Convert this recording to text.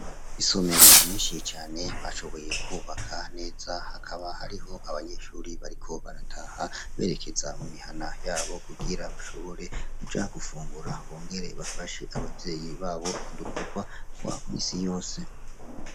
Isomero nyinshi cane bashoboye kwubaka Neza hakaba ariho abanyeshure bariko barataha berekeza mumihana yabo kugira bashobore kuja gufungura Bongere bafashe abavyeyi babo udukwogwa twa musi yose